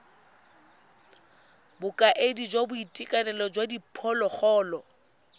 bokaedi jwa boitekanelo jwa diphologolo